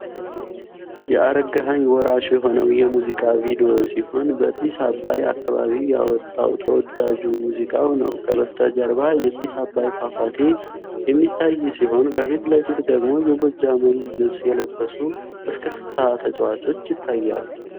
የአረጋኸኝ ወራሽ የሆነው የሙዚቃ ቪዲዮ ሲሆን በጢስ አባይ አካባቢ ያወጣው ተወዳጁ ሙዚቃው ነው ከጀርባ የጢስ አባይ ፏፏቴ የሚታይ ሲሆን ከፊት ለፊት ደግሞ የጎጃምን ልበስ የለበሱ እስክስታ ተጫዋቾች ይታያሉ።